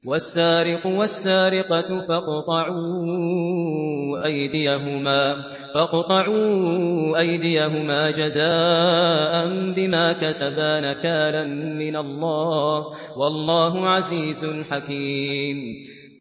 وَالسَّارِقُ وَالسَّارِقَةُ فَاقْطَعُوا أَيْدِيَهُمَا جَزَاءً بِمَا كَسَبَا نَكَالًا مِّنَ اللَّهِ ۗ وَاللَّهُ عَزِيزٌ حَكِيمٌ